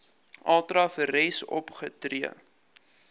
ultra vires opgetree